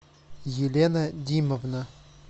елена димовна